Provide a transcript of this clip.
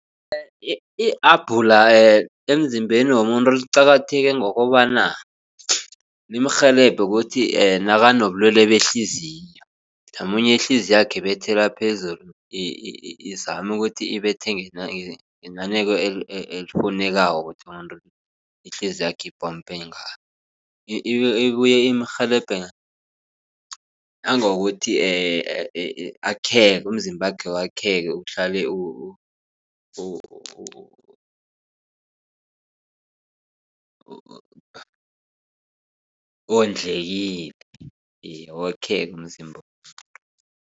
I-abhula emzimbeni womuntu liqakatheke ngokobana limrhelebhe ukuthi nakanobulwele behliziyo. Mhlamunye ihliziywakhe ibethela phezulu izame ukuthi ibethe ngenaneko elifunekako ukuthi umuntu ihliziyo yakhe ipompe ngayo. Ibuye imrhelebhe nangokuthi akheke umzimbakhe wakheke uhlale wondlekile wakheke umzimba